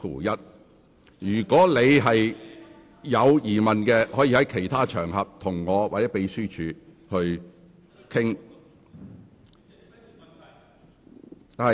如果你有疑問，可以在其他場合與我或秘書處商討。